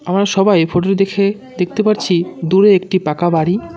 আমরা সবাই এই ফোটো -টি দেখে দেখতে পারছি দূরে একটি পাকা বাড়ি।